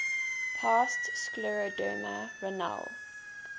past scleroderma renal